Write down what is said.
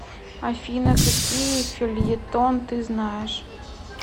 афина какие фельетон ты знаешь